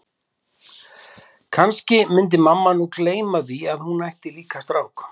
Kannski myndi mamma nú bara gleyma því að hún ætti líka strák.